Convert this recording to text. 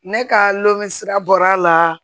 Ne ka lɔsira bɔra la